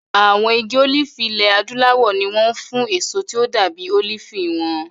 Àwọn igi olifi ilẹ̀ Adúláwọ̀ ni wọ́n mọ̀ fún èso tí ó dàbí olifi wọn.